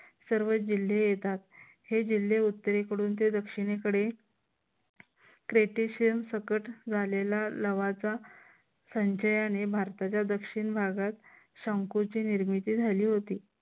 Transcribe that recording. सर्व जिल्हे येतात. हे जिल्हे उत्तरेकडून ते दक्षिणेकडे क्रेटेशिअस सकट झालेला लाव्हाचा संचयाने भारताच्या दक्षिण भागात संकुची निर्मिती झाली होती.